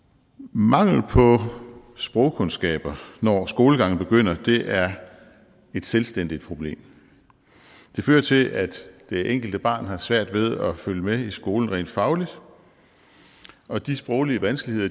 mangel på sprogkundskaber når skolegangen begynder er et selvstændigt problem det fører til at det enkelte barn har svært ved at følge med i skolen rent fagligt og de sproglige vanskeligheder